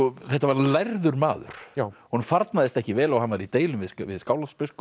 þetta var lærður maður honum farnaðist ekki vel og hann var í deilum við Skálholtsbiskup